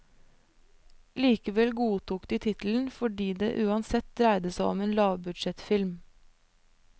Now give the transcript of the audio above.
Likevel godtok de tittelen, fordi det uansett dreide seg om en lavbudsjettfilm.